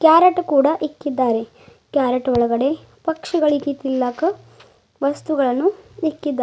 parrot ಕೂಡಾ ಇಕ್ಕಿದ್ದಾರೆ carrot ಒಳಗಡೆ ಪಕ್ಷಿಗಳಿಗಿ ತಿನ್ನಲಾಕ ವಸ್ತುಗಳನ್ನು ಇಕ್ಕಿದ್ದಾ--